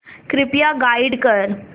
कृपया गाईड कर